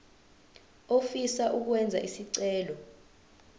ofisa ukwenza isicelo